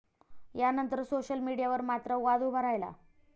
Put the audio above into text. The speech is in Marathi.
यानंतर सोशल मीडियावर मात्र वाद उभा राहिला.